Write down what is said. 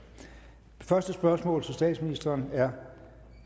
første spørgsmål til statsministeren er